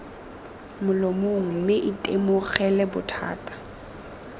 molomong mme lo itemogela bothata